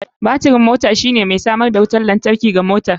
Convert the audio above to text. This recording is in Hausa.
Batirin mota shine mai samar da wutar lantarki ga motar.